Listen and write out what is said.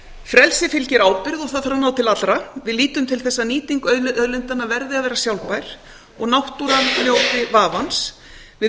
frelsi fylgir ábyrgð og það þarf að ná til allra við lítum til þess að nýting auðlindanna verði að vera sjálfbær og náttúran njóti vafans við